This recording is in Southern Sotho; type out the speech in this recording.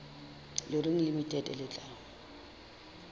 le reng limited le tla